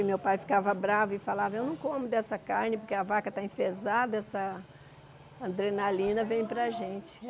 E meu pai ficava bravo e falava, eu não como dessa carne porque a vaca está enfezada, essa adrenalina vem para a gente.